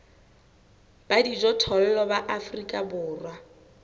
ba dijothollo ba afrika borwa